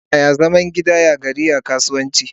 Yaya zaman gidan yari ya kasance?